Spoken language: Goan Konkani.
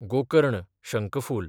गोकर्ण, शंकफूल